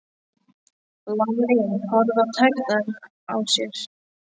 Lalli horfði á tærnar á sér.